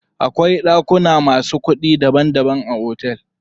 Akwai ɗakuna masu kuɗi daban daban a otel.